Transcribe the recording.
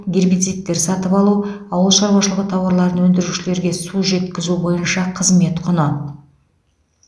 гербицидтер сатып алу ауыл шаруашылығы тауарларын өндірушілерге су жеткізу бойынша қызмет құны